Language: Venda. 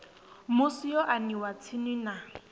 musi yo aniwa tsini na